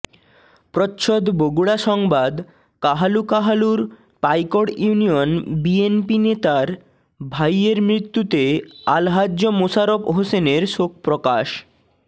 প্রচ্ছদ বগুড়া সংবাদ কাহালু কাহালুর পাইকড় ইউনিয়ন বিএনপিনেতার ভাইয়ের মৃত্যুতে আলহাজ্ব মোশারফ হোসেনের শোক প্রকাশ